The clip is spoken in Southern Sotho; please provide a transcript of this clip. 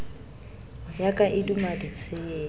ya ka e duma ditshepe